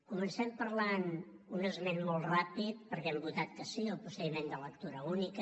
comencem parlant un esment molt ràpid per què hem votat que sí al procediment de lectura única